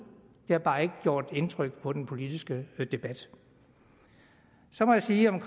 det har bare ikke gjort indtryk på den politiske debat så må jeg sige om